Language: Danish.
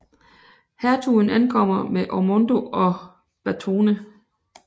Hertugen ankommer med Ormondo og Batone